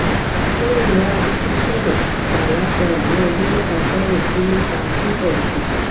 lẹyìn varicocele bilateral ní ọdún mẹta sẹyìn kí ló fa fífẹ iṣan